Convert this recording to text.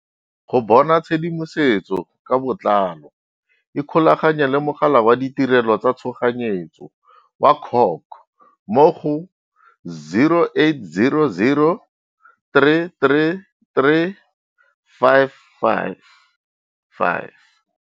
Go bona tshedimosetso ka botlalo ikgolaganye le Mogala wa Ditirelo tsa Tshoganyetso wa CHOC mo go 0800 333 555.